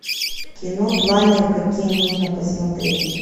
кино планер какие можно посмотреть